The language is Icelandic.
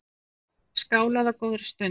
Skálað á góðri stund.